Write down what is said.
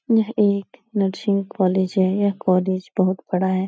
यह एक nursing college है यह कॉलेज बहुत बड़ा है।